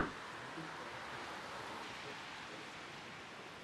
ютуб саратов ссср рсфср